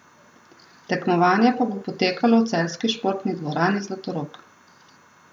Tekmovanje pa bo potekalo v celjski športni dvorani Zlatorog.